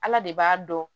Ala de b'a dɔn